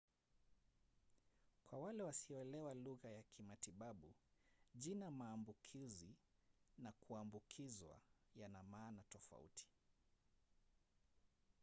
kwa wale wasioelewa lugha ya kimatibabu jina maambukuzi na kuambukizwa yana maana tofauti